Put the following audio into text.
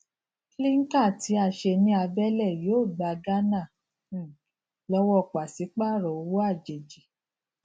clinker tí a ṣe ní abele yóò gba ghana um lọwọ pasipaaro owó àjèjì